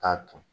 K'a ton